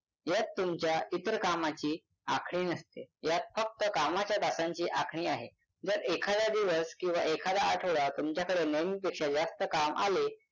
यात तुमच्या इतर कामांची आखणी नसते यात फक्त कामाच्या तासांची आखणी आहे जर एखादा दिवस किंवा एखादा आठवडा तुमच्याकडे नेहमीपेक्षा जास्त काम आले